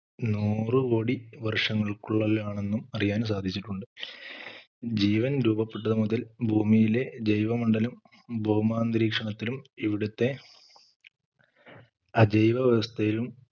നൂറു കോടി വർഷങ്ങൾക്കുള്ളിലാണെന്നും അറിയാൻ സാധിച്ചിട്ടുണ്ട് ജീവൻ രൂപപ്പെട്ടത് മുതൽ ഭൂമിയിലെ ജൈവമണ്ഡലം ഭൗമാന്തരീക്ഷണത്തിനും ഇവിടുത്തെ അതീവ വ്യവസ്ഥയിലും